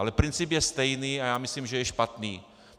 Ale princip je stejný a já myslím, že je špatný.